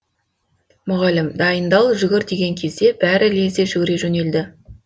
мұғалім дайындал жүгір деген кезде бәрі лезде жүгіре жөнелді